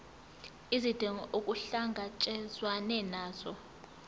izidingo kuhlangatshezwane nazo